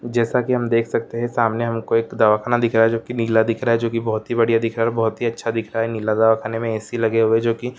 जैसा हम देख सकते है सामने हमको एक दवाखाना दिखाया जो की नीला दिख रहा है जो की बहुत ही बढ़िया दिख रहा है बहुत ही अच्छा दिख रहा है खाने में ऐ.सी. लगे हुए जो की --